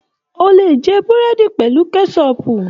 O le jẹ burẹdi pẹlu kẹsọpu.